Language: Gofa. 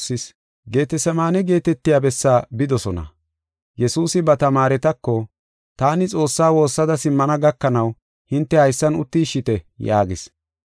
Geetasemaane geetetiya bessaa bidosona; Yesuusi ba tamaaretako, “Taani Xoossaa woossada simmana gakanaw hinte haysan uttishite” yaagis.